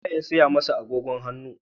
Wa ye ya saya masa agogon hannun?